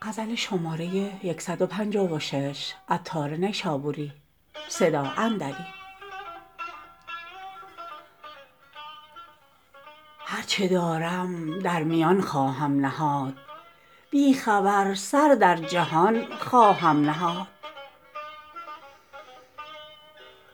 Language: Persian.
هرچه دارم در میان خواهم نهاد بی خبر سر در جهان خواهم نهاد